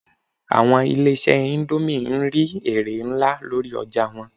Àwọn ilé-ìṣẹ́ indomie n rí èrè nlá lórí ọjà wọn